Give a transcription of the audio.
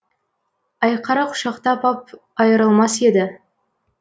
айқара құшақтап ап айырылмас еді